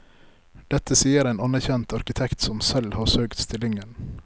Dette sier en anerkjent arkitekt som selv har søkt stillingen.